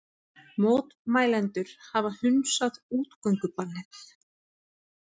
Mótmælendur hafa hunsað útgöngubannið